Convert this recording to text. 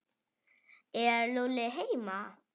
Er Lúlli heima?